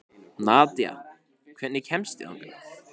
Nadja, hvernig kemst ég þangað?